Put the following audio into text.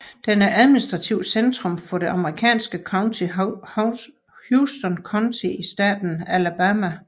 Den er administrativt centrum for det amerikanske county Houston County i staten Alabama